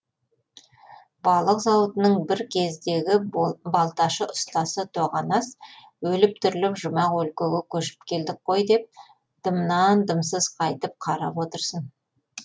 балық зауытының бір кездегі балташы ұстасы тоғанас өліп тіріліп жұмақ өлкеге көшіп келдік қой деп дымнан дымсыз қайтіп қарап отырсын